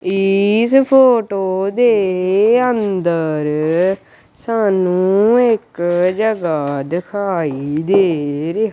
ਇਸ ਫੋਟੋ ਦੇ ਅੰਦਰ ਸਾਨੂੰ ਇੱਕ ਜਗ੍ਹਾ ਦਿਖਾਈ ਦੇ ਰਹੀ--